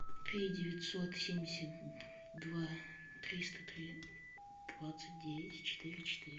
три девятьсот семьдесят два триста три двадцать девять четыре четыре